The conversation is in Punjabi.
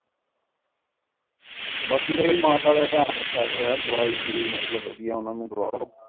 ਬਾਕੀ ਬੀ ਮਾਤਾ ਦਾ ਧਯਾਨ ਰਖਿਆ ਕਰੋ ਦਵਾਈ ਦਵਉਈ ਵੜਿਆ ਓਹਨਾ ਨੂੰ ਦਵਾਓ